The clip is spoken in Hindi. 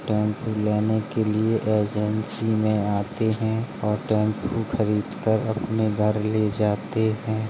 टैम्पो लेने के लिए एजेंसी में आते हैं और टैम्पो खरीदकर अपने घर ले जाते हैं।